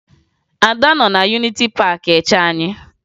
Ada nọ na Yuniti Paakị eche anyị